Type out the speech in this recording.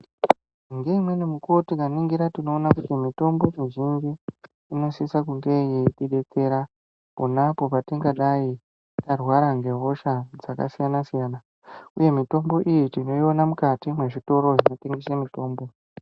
Ngeimweni mikuwo tikaningira tinoona kuti mitombo mizhinji inosisa kunge yeitidetsera ponapo patingadai tarwara ngehosha dzakasiyana siyana uye mitombo iyi tinoiona mukati mwezvitoro zvinotengesa mitombo.